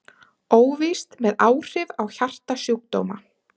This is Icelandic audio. Óvíst með áhrif á hjartasjúkdóma